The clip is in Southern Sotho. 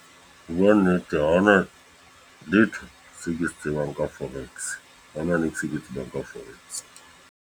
Ho bua nnete, haona letho seo ke se tsebang ka forex. Ha hona ke tsebang ka forex.